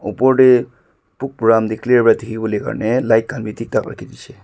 opor tae book puram tae clear pa dikhiwolae karne light khan bi thik thak rakhidishey.